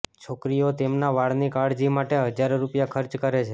છોકરીઓ તેમના વાળની કાળજી માટે હજારો રૂપિયા ખર્ચ કરે છે